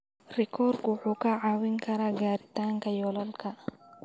Rikoorku wuxuu kaa caawin karaa gaaritaanka yoolalka.